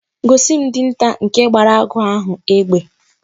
Gosi m Dinta nke gbara agụ ahu egbe!